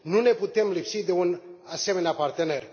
Nu ne putem lipsi de un asemenea partener.